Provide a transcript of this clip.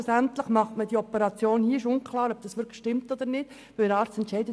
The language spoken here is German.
Nach langem Hin und Her macht man die Operation schlussendlich hier, weil dies der so Arzt entscheidet.